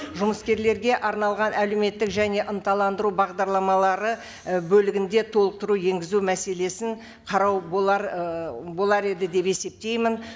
жұмыскерлерге арналған әлеуметтік және ынталандыру бағдарламалары і бөлігінде толықтыру енгізу мәселесін қарау болар ы болар еді деп есептеймін